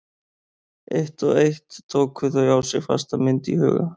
Eitt og eitt tóku þau á sig fasta mynd í huga